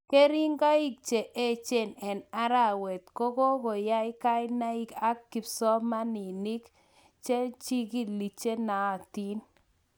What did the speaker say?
keringaik che echen en arawet kogokogai kainaig ab kipsomaninig, naig ag chigilik chenaatin